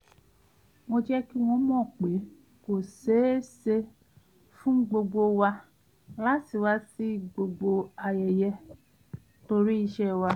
mo jẹ́ kí wọ́n mọ̀ pé kò ṣeéṣe fún gbogbo wa láti wá sí gbogbo ayẹyẹ torí iṣẹ́ wa